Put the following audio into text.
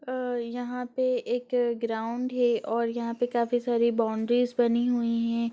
अ यहाँ पे एक ग्राउंड है और यहाँ पे काफी सारी बॉउंड्रीज़ बनी हुई हैं।